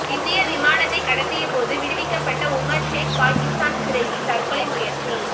இந்திய விமானத்தை கடத்திய போது விடுவிக்கப்பட்ட உமர் ஷேக் பாகிஸ்தான் சிறையில் தற்கொலை முயற்சி